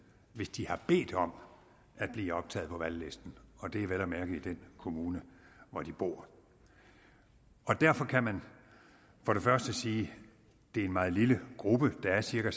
hvis de har bedt om at blive optaget på valglisten og det er vel at mærke i den kommune hvor de bor og derfor kan man sige at det er en meget lille gruppe der er cirka